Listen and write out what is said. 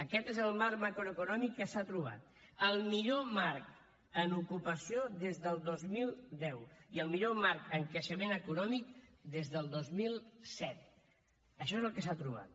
aquest és el marc macroeconòmic que s’ha trobat el millor marc en ocupació des del dos mil deu i el millor marc en creixement econòmic des del dos mil set això és el que s’ha trobat